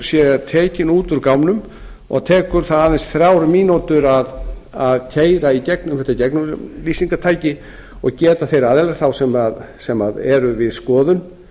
sé tekinn út úr gámnum og tekur það aðeins þrjár mínútur að keyra í gegnum þetta gegnumlýsingartæki og geta ári aðilar sem eru við skoðun